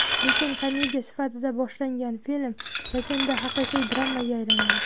Lekin komediya sifatida boshlangan film yakunda haqiqiy dramaga aylanadi.